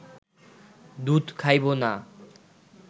দুধ খাইব না